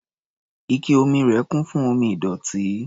Ike omi rẹ̀ kún fún omi ìdọ̀tí.